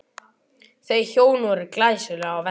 Þau hjón voru glæsileg á velli.